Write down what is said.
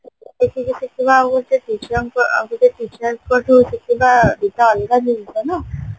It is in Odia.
ଆଉ ଗୋଟେ ଶିଷ୍ୟଙ୍କ ଆଉ ଗୋଟେ ଶିଷ୍ୟଙ୍କଠୁ ଶିଖିବା ଦିଟା ଯାଙ୍କ ଅଲଗା ଜିନିଷ ନାଁ